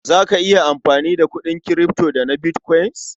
Za ka iya amfani da kuɗin kirifto da na bitkwain?